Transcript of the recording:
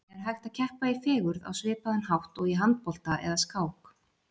En er hægt að keppa í fegurð á svipaðan hátt og í handbolta eða skák?